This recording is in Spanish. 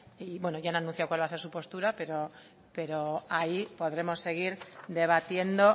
bueno ya han anunciado cuál va a ser su postura pero ahí podremos seguir debatiendo